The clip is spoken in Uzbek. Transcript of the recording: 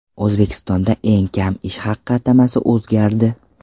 O‘zbekistonda eng kam ish haqi atamasi o‘zgardi.